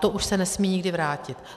To už se nesmí nikdy vrátit.